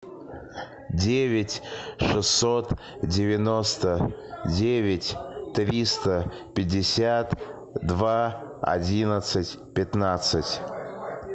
девять шестьсот девяносто девять триста пятьдесят два одиннадцать пятнадцать